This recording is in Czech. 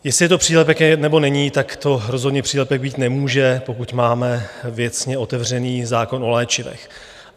Jestli je to přílepek nebo není, tak to rozhodně přílepek být nemůže, pokud máme věcně otevřený zákon o léčivech.